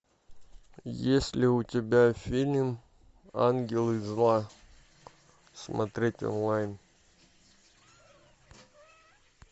есть ли у тебя фильм ангелы зла смотреть онлайн